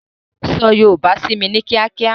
So yòòbá sími ní kíákíá!